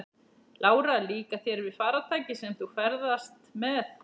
Lára: Líkar þér við farartækið sem þú ferðast með?